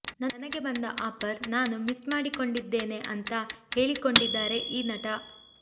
ನನಗೆ ಬಂದ ಆಫರ್ ನಾನು ಮಿಸ್ ಮಾಡಿಕೊಂಡಿದ್ದೆ ಅಂತಾ ಹೇಳಿಕೊಂಡಿದ್ದಾರೆ ಈ ನಟ